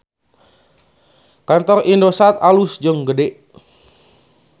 Kantor Indosat alus jeung gede